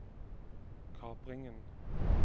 kapringen